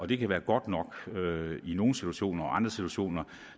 det kan være godt nok i nogle situationer og i andre situationer